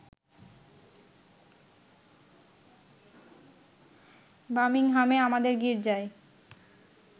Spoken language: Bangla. বামিংহামে আমাদের গীর্জায়